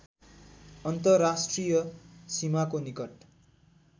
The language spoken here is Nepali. अन्तर्राष्ट्रिय सीमाको निकट